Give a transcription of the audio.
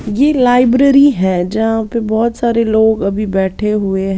ये लाइब्रेरी है जहाँ पे बहोत सारे लोग अभी बैठे हुए--